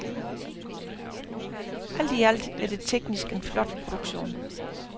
Alt i alt er det teknisk en flot produktion.